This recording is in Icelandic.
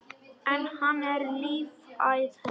En hann er lífæð hennar.